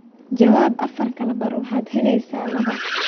jawaab afar kala bar waxaad helaysaa laba